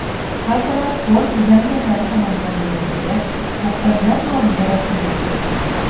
Kartalar fond dizaynerlari tomonidan bezatilgach, muhtojlar nomiga rasmiylashtirildi.